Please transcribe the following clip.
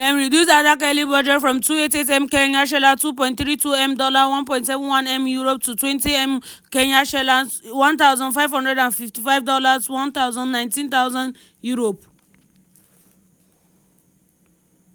dem reduce adak yearly budget from 288m kenyan shillings ($2.32m £1.71m) to 20m kenyan shillings ($155000 £119000).